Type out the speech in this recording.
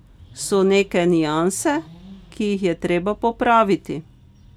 So neke nianse, ki jih je treba popraviti.